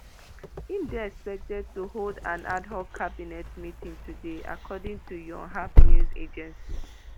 im dey expected to hold an ad hoc cabinet meeting today according to yonhap news agency